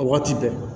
Waati bɛɛ